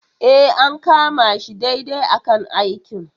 E, an kama shi daidai a kan aikin.